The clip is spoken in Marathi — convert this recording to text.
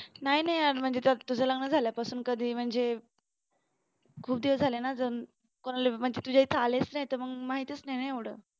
नाही नाही यार म्हणजे त्यात तुझं लग्न झाल्यापासून कधी म्हणजे खूप दिवस झाले ना म्हणजे तुझ्या इथे आलेच नाय तर मग माहितीच नाय ना एवढं